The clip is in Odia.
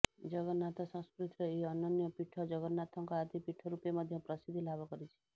ଜଗନ୍ନାଥ ସଂସ୍କୃତିର ଏହି ଅନନ୍ୟ ପୀଠ ଜଗନ୍ନାଥଙ୍କ ଆଦି ପୀଠ ରୂପେ ମଧ୍ୟ ପ୍ରସିଦ୍ଧି ଲାଭ କରିଛି